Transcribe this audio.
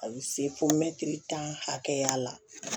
A bɛ se fo mɛtiri tan hakɛya la